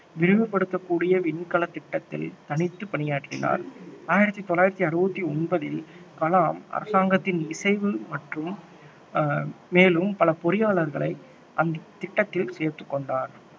விரிவுப்படுத்தக்கூடிய விண்கலத் திட்டத்தில் தனித்து பணியாற்றினார் ஆயிரத்தி தொள்ளாயிரத்தி அறுபத்தி ஒன்பதில் கலாம் அரசாங்கத்தின் இசைவு மற்றும் மேலும் பல பொறியாளர்களை அந்தத் திட்டத்தில் சேர்த்துக்கொண்டார்